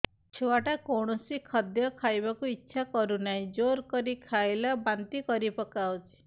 ଛୁଆ ଟା କୌଣସି ଖଦୀୟ ଖାଇବାକୁ ଈଛା କରୁନାହିଁ ଜୋର କରି ଖାଇଲା ବାନ୍ତି କରି ପକଉଛି